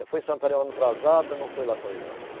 Eu fui em Santarém um ano atrasado, não fui lá com ele, não.